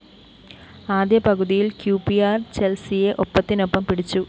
ആദ്യ പകുതിയില്‍ Q P R ചെല്‍സിയെ ഒപ്പത്തിനൊപ്പം പിടിച്ചു